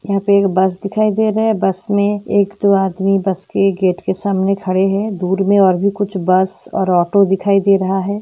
यहाँ पर एक बस दिखाई दे रहा हैं बस में एक दो आदमी बस के गेट पर सामने खड़े हैं दूर में और भी कुछ बस और ऑटो दिखाई दे रहा हैं।